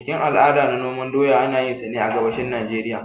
Bikin al'ada na noman doya, ana yinsa ne a gabashin Najeriya.